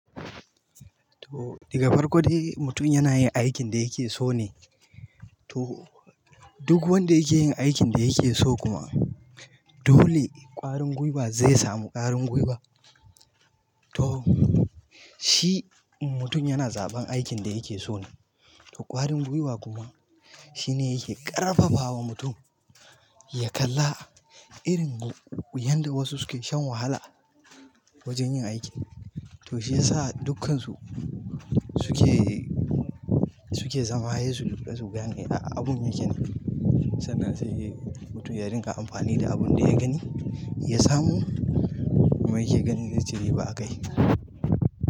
To daga farko dai mutum yana yin aikin da yake so ne, to duk wanda yake yin aikin da yake so kuma dole ƙwarin gwiwa zai samu ƙwarin gwiwa. To shi mutum yana zaɓan aikin da yake so ne, to ƙwarin gwiwa kuma shine yake ƙarfafawa mutum ya kalla irin yanda wasu suke shan wahala wajen yin aikin, to shiyasa dukkansu suke, suke zama sai su, sai su gane ya abun yake ne sannan sai mutum ya rinƙa amfani da abin da ya gani, ya samu mai yake ganin zai ci riba a kai.